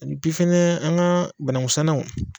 Epi fɛnɛ an ga banangusannaw